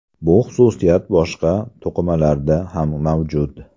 Bu xususiyat boshqa to‘qimalarda ham mavjud.